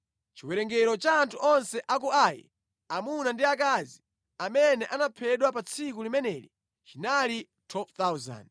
Chiwerengero cha anthu onse a ku Ai, amuna ndi akazi, amene anaphedwa pa tsiku limeneli chinali 12,000.